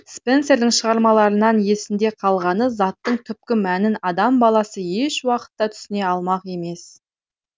спенсердің шығармаларынан есінде қалғаны заттың түпкі мәнін адам баласы ешуақытта түсіне алмақ емес